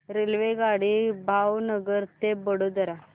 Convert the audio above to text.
रेल्वेगाडी भावनगर ते वडोदरा